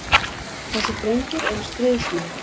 Þessir drengir eru stríðsmenn.